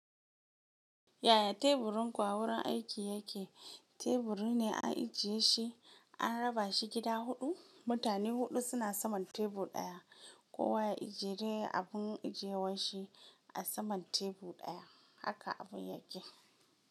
Yaya teburin ku a wurin aiki yake? Teburi ne an ajiye shi, an raba shi gida huɗu. Mutane huɗu suna saman tebur ɗaya. Kowa ya ajiye dai abun ajiyewar shi a saman tebur ɗaya. Haka abun yake.